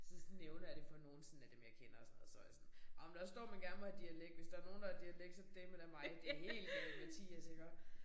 Så nævner jeg det for nogen sådan af dem jeg kender og sådan noget så var jeg sådan ej men der står man gerne må have dialekt hvis der nogen der har dialekt så det dæleme da mig det helt galimatias iggå